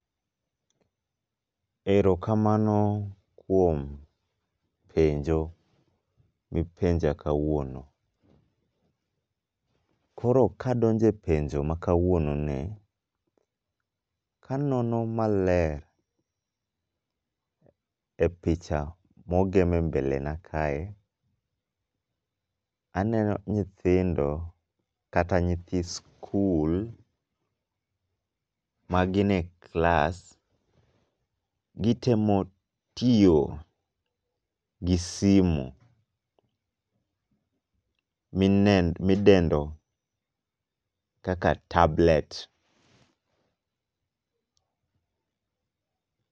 Erokamano kuom penjo mipenja kawuono. Koro kadonje penjo makawuononi, kanono maler e picha mogeme mbelena kae, aneno nyithindo kata nyithii skul magine klas, gitemo tiyo gi simu midendo kaka tablet.